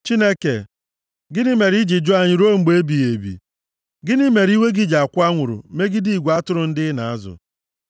Chineke, gịnị mere i ji jụ anyị ruo mgbe ebighị ebi? Gịnị mere iwe gị ji akwụ anwụrụ megide igwe atụrụ ndị ị na-azụ?